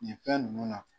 Nin fɛn ninnu na